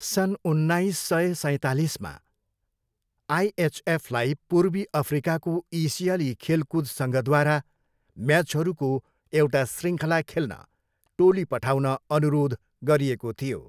सन् उन्नाइस सय सैँतालिसमा, आइएचएफलाई पूर्वी अफ्रिकाको एसियाली खेलकुद सङ्घद्वारा म्याचहरूको एउटा शृङ्खला खेल्न टोली पठाउन अनुरोध गरिएको थियो।